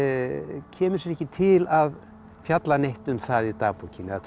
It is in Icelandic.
kemur sér ekki til að fjalla neitt um það í dagbókinni eða trúa